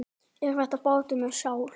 Er þetta bátur með sál?